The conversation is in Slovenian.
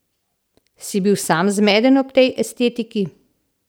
Si bil sam zmeden ob tej estetiki?